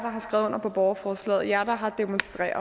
har skrevet under på borgerforslaget jer der har demonstreret